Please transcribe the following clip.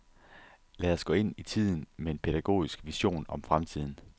Lad os gå ind i tiden, med en pædagogisk vision om fremtiden.